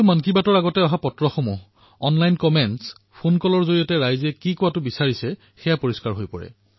প্ৰতিটো মন কী বাতৰ খণ্ডৰ পূৰ্বে অহা পত্ৰ অনলাইন কমেণ্টছ ফোনকল ইয়াত শ্ৰোতাসকলৰ আশা পৰিষ্ফুট হয়